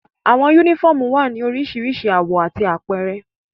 Awọn unifọmú wa ni oriṣiriṣi awọ ati awọn apẹrẹ